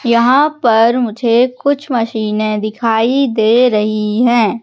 यहां पर मुझे कुछ मशीने दिखाई दे रही है।